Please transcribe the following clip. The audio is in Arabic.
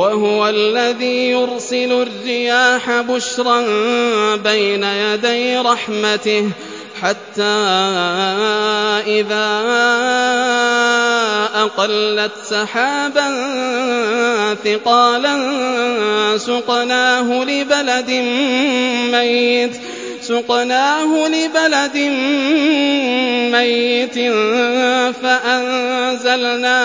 وَهُوَ الَّذِي يُرْسِلُ الرِّيَاحَ بُشْرًا بَيْنَ يَدَيْ رَحْمَتِهِ ۖ حَتَّىٰ إِذَا أَقَلَّتْ سَحَابًا ثِقَالًا سُقْنَاهُ لِبَلَدٍ مَّيِّتٍ فَأَنزَلْنَا